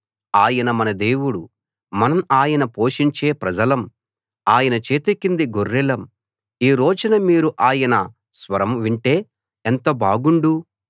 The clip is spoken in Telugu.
ఆయన మన దేవుడు మనం ఆయన పోషించే ప్రజలం ఆయన చేతికింది గొర్రెలం ఈ రోజున మీరు ఆయన స్వరం వింటే ఎంత బాగుండు